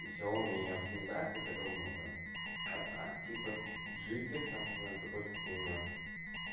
и ксяоми и оптимизация это гавно а так типа джиттер там примерно такой же как и у нас